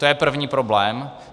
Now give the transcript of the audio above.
To je první problém.